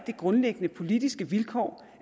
det grundlæggende politiske vilkår